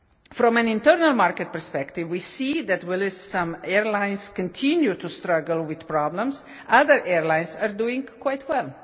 From an internal market perspective, we see that, whilst some airlines continue to struggle with problems, other airlines are doing quite well.